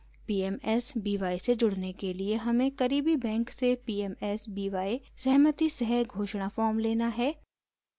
pmsby से जुड़ने के लिए हमें करीबी बैंक से pmsby सहमति सह घोषणा फॉर्म लेना है